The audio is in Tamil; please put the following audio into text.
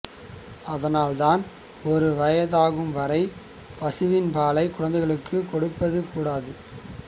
அதனால்தான் ஒரு வயதாகும் வரை பசுவின் பாலை குழந்தைகளுக்கு கொடுப்பது கூடாது